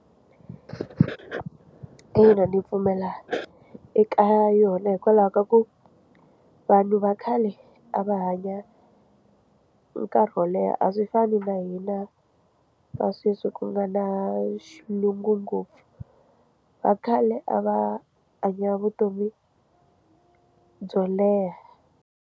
Ina ndzi pfumela eka yona hikwalaho ka ku vanhu va khale a va hanya nkarhi wo leha a swi fani na hina va sweswi ku nga na xilungu ngopfu vakhale a va hanya vutomi byo leha.